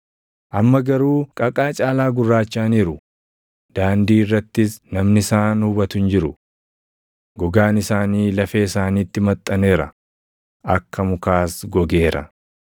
Amma garuu qaqaa caalaa gurraachaʼaniiru; daandii irrattis namni isaan hubatu hin jiru. Gogaan isaanii lafee isaaniitti maxxaneera; akka mukaas gogeera.